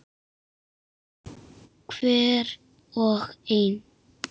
Hver og ein.